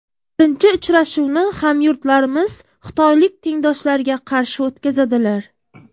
Birinchi uchrashuvni hamyurtlarimiz xitoylik tengdoshlariga qarshi o‘tkazadilar.